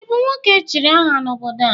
ị bụ nwoke echiri aha n'obodo a?